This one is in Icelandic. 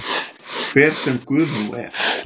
Hver sem Guð nú er.